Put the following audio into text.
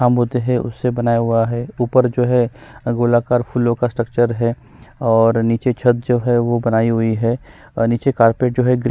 काम होते हैं उससे बनाया हुआ है ऊपर जो हैं गोलाकार फूलों का स्ट्रक्चर हैं नीचे छत जो हैं बनाई हुई हैं और नीचे कार्पेट जो हैं ग्रीन --